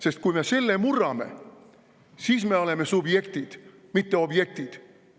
Sest kui me selle murrame, siis me oleme subjektid, mitte objektid.